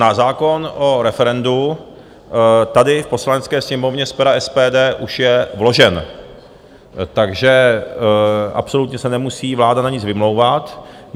Náš zákon o referendu tady v Poslanecké sněmovně z pera SPD už je vložen, takže absolutně se nemusí vláda na nic vymlouvat.